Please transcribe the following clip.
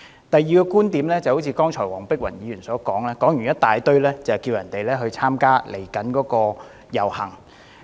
第二點，黃碧雲議員剛才長篇大論後，呼籲大家參加即將舉行的遊行。